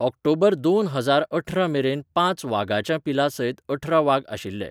ऑक्टोबर दोन हजार अठरा मेरेन पांच वागाच्यां पिलांसयत अठरा वाग आशिल्ले.